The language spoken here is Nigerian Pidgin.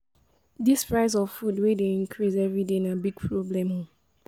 Dis price of food wey dey increase everyday na big problem o.